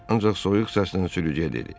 Ancaq soyuq səslə sürücüyə dedi: